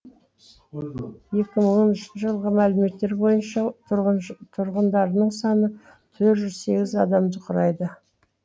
екі мың оныншы жылғы мәліметтер бойынша тұрғындарының саны төрт жүз сегіз адамды құрайды